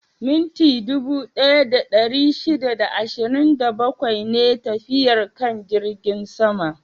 Minti dubu ɗaya da ɗari shida da ashirin da bakwai ne tafiyar kan jirgin sama?